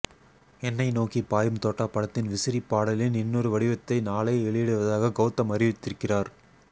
எனை நோக்கி பாயும் தோட்டா படத்தின் விசிறி பாடலின் இன்னொரு வடிவத்தை நாளை வெளியிடுவதாக கௌதம் அறிவித்திருக்கிறார்